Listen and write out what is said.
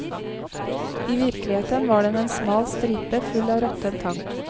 I virkeligheten var den en smal stripe full av råtten tang.